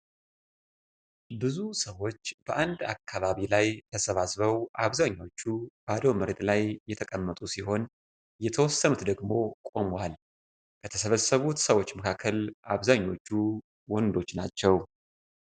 ብዙ ሰዎች በአንድ አካባቢ ላይ ተሰባስበው አብዛኞቹ ባዶ መሬት ላይ የተቀመጡ ሲሆን የተወሰኑት ደግሞ ቆመዋል። ከተሰበሰቡት ሰዎች መካከል አብዛኞቹ ወንዶች ናቸው።